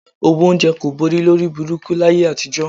Owó oúnjẹ kò gbówó lórí burúkú láyé àtijọ́